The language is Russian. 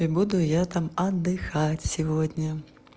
и буду я там отдыхать сегодня